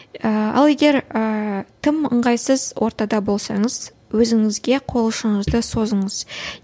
ыыы ал егер ыыы тым ыңғайсыз ортада болсаңыз өзіңізге қол ұшыңызды созыңыз